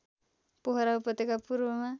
पोखरा उपत्यका पूर्वमा